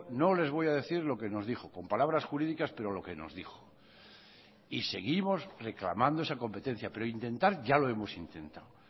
no les voy a decir lo que nos dijo con palabras jurídicas pero lo que nos dijo y seguimos reclamando esa competencia pero intentar ya lo hemos intentado